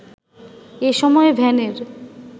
এ সময় ভ্যানের